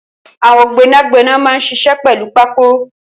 Awọn gbẹnágbẹná mà n ṣiṣẹ̀ pẹlù pákó